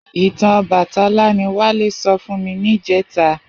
Itàn Òbàtãlá ni Wale sò fún mi nijètá